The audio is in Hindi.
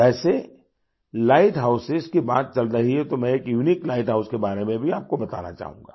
वैसेलाइट हाउसों की बात चल रही है तो मैं एक यूनिक लाइट हाउस के बारे में भी आपको बताना चाहूँगा